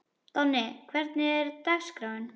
Donni, hvernig er dagskráin?